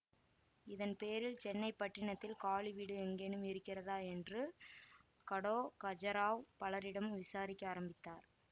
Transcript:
இதன் பேரில் சென்னை பட்டணத்தில் காலி வீடு எங்கேனும் இருக்கிறதா என்று கடோ த்கஜராவ் பலரிடமும் விசாரிக்க ஆரம்பித்தார்